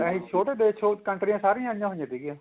ਇਹੀ ਛੋਟੇ ਦੇਸ਼ ਚੋ ਕੰਟਰੀਆਂ ਸਰੀਆਂ ਆਈਆਂ ਹੋਈਆਂ ਸੀਗੀਆਂ